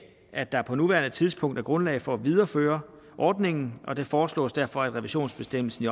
at der på nuværende tidspunkt er grundlag for at videreføre ordningen og det foreslås derfor at revisionsbestemmelsen